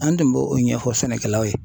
An tun b'o o ɲɛfɔ sɛnɛkɛlaw ye